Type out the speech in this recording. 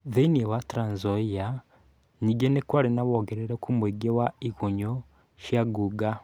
Thĩinĩ wa Trans Nzoia, ningĩ nĩ kwarĩ na wongerereku muingĩ wa igunyũ cia ngũnga.